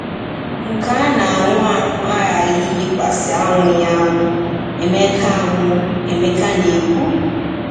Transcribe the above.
Nke a na-anwụ anwụ aghaghị iyikwasị anwụghị anwụ, Emeka anwụ, Emeka na-ekwu.